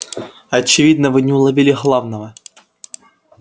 очевидно вы не уловили главного